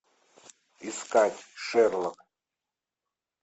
искать шерлок